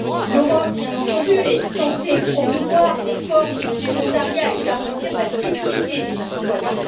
L'Europe, bien entendu, est censée promouvoir les formes de volontariat et garantir la sécurité des citoyens.